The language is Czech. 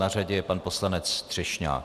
Na řadě je pan poslanec Třešňák.